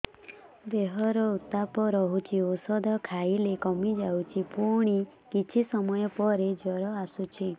ଦେହର ଉତ୍ତାପ ରହୁଛି ଔଷଧ ଖାଇଲେ କମିଯାଉଛି ପୁଣି କିଛି ସମୟ ପରେ ଜ୍ୱର ଆସୁଛି